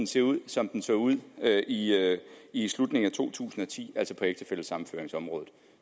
se ud som den så ud i i slutningen af to tusind og ti altså på ægtefællesammenføringsområdet